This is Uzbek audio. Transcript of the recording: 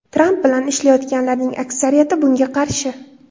Tramp bilan ishlayotganlarning aksariyati bunga qarshi.